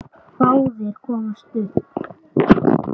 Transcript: Báðir komust upp.